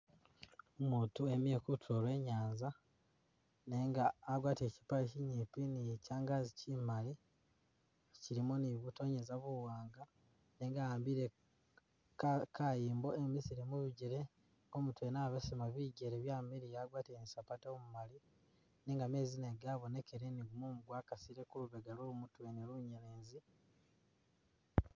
Umutu emile kutulo lwe inyanza nenga agwatile kyipaale kyinyipi ni kyangaazi kyimali kyilimo ni butonyeza buwanga nenga a'ambile ka kayimbo engisile mubijele, umutu yene abesema bijjele byamiliya agwatile ni sapatu umumaali nenga meezi nago gabonekele ni gumumu gwakasile kulubega lwomutu wene lunyelezi